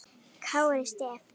Kára Stef?